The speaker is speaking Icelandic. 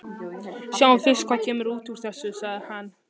Sjáum fyrst hvað kemur út úr þessu, sagði hann.